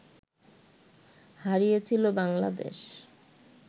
হারিয়েছিল বাংলাদেশ